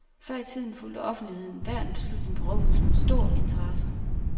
Før i tiden fulgte offentligheden hver en beslutning på rådhuset med stor interesse.